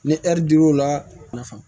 Ni ɛri dir'o la nafa